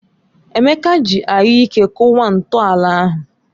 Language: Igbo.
Emeka ji anyụike kụwa ntọala ahụ.